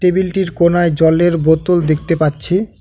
টেবিলটির কোনায় জলের বোতল দেখতে পাচ্ছি।